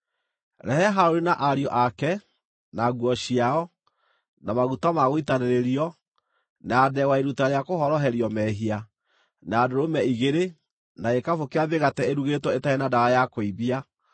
“Rehe Harũni na ariũ ake, na nguo ciao, na maguta ma gũitanĩrĩrio, na ndegwa ya iruta rĩa kũhoroherio mehia, na ndũrũme igĩrĩ, na gĩkabũ kĩa mĩgate ĩrugĩtwo ĩtarĩ na ndawa ya kũimbia,